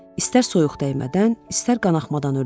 İstər soyuq dəymədən, istər qanaxmadan ölüm.